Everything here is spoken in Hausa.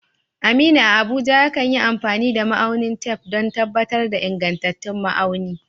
Aminu, a Abuja, yakan yi amfani da ma'aunin tef don tabbatar da ingantattun ma'auni.